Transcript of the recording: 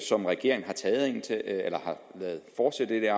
som regeringen har ladet fortsætte